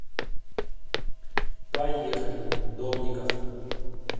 поехали домников